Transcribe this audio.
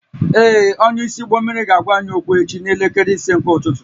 Ee, onyeisi ụgbọ mmiri ga-agwa anyị okwu echi n'elekere ise nke ụtụtụ